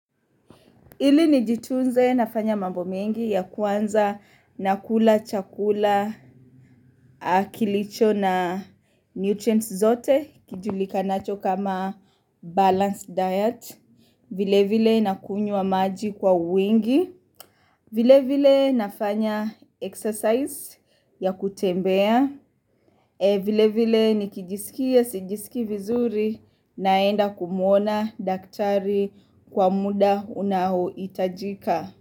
Ili nijitunze nafanya mabo mengi ya kwanza nakula chakula kilicho na nutrients zote kijulika nacho kama balanced diet. Vile vile na kunywa maji kwa wingi. Vile vile nafanya exercise ya kutembea. Vile vile ni kijisikia sijisiki vizuri naenda kumuona daktari kwa muda unaoitajika.